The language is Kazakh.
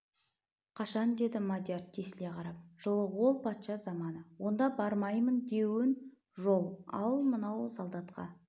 қашан деді мадияр тесіле қарап жылы ол патша заманы онда бармаймын деуін жол ал мынау солдатқа